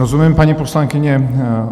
Rozumím, paní poslankyně.